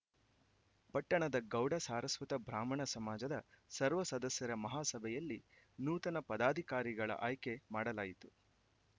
ಪಟ್ಟಣದ ಗೌಡ ಸಾರಸ್ವತ ಬ್ರಾಹ್ಮಣ ಸಮಾಜದ ಸರ್ವಸದಸ್ಯರ ಮಹಾ ಸಭೆಯಲ್ಲಿ ನೂತನ ಪದಾಧಿಕಾರಿಗಳ ಆಯ್ಕೆ ಮಾಡಲಾಯಿತು